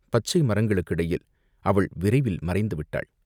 பச்சை மரங்களுக்கிடையில் அவள் விரைவில் மறைந்து விட்டாள்.